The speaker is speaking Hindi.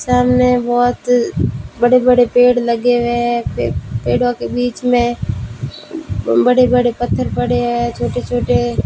सामने बहोत बड़े बड़े पेड़ लगे हुए हैं पे पेड़ों के बीच में बड़े बड़े पत्थर पड़े हैं छोटे छोटे--